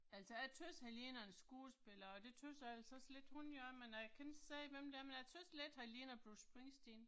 Altså jeg tøvs han ligner en skuespiller og det tøvs jeg altså også lidt hun gør men jeg kan ikke sige hvem det er men jeg tøvs lidt han ligner Bruce Springsteen